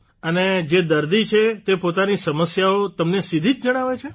અને જે દર્દી છે તે પોતાની સમસ્યાઓ તમને સીધી જ જણાવે છે